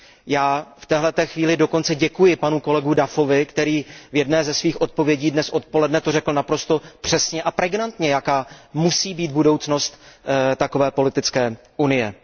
Já v téhle té chvíli dokonce děkuji panu kolegu Duffovi, který v jedné ze svých odpovědí dnes odpoledne to řekl naprosto přesně a pregnantně, jaká musí být budoucnost takové politické unie.